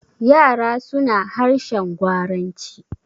yara suna harshen gwaranci.